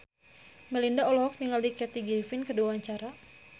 Melinda olohok ningali Kathy Griffin keur diwawancara